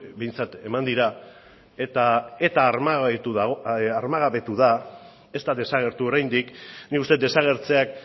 behintzat eman dira eta eta armagabetu da ez da desagertu oraindik nik uste dut desagertzeak